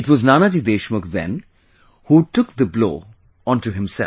It was Nanaji Deshmukh then, who took the blow onto himself